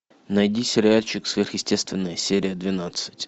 найди сериальчик сверхъестественное серия двенадцать